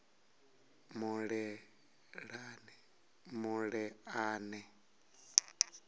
muleḓane